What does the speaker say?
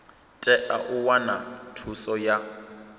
tea u wana thuso ya